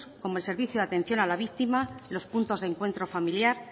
como el servicio de atención a la víctima los puntos de encuentro familiar